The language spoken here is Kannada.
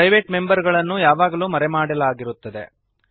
ಪ್ರೈವೇಟ್ ಮೆಂಬರ್ ಗಳನ್ನು ಯಾವಾಗಲೂ ಮರೆಮಾಡಲಾಗಿರುತ್ತದೆ